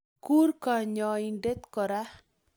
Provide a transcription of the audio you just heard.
Kuur konyoindet koro